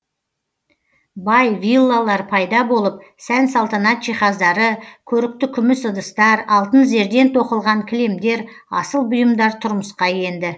виллалар пайда болып сән салтанат жиһаздары көрікті күміс ыдыстар алтын зерден тоқылған кілемдер асыл бұйымдар тұрмысқа енді